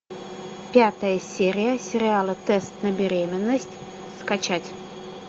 пятая серия сериала тест на беременность скачать